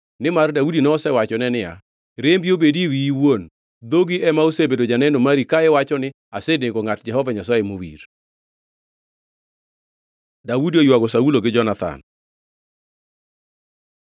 Nimar Daudi nosewachone niya, “Rembi obedi e wiyi iwuon. Dhogi ema osebedo janeno mari ka iwacho ni, ‘Asenego ngʼat Jehova Nyasaye mowir.’ ” Daudi oywago Saulo gi Jonathan